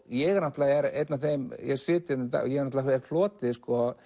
ég er einn af þeim sem hef hlotið